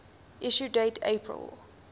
issue date april